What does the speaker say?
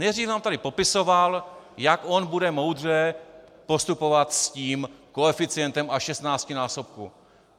Nejdřív nám tady popisoval, jak on bude moudře postupovat s tím koeficientem až šestnáctinásobku.